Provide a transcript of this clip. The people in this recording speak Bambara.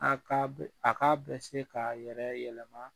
A ka a k'a bɛ se k'a yɛrɛ yɛlɛma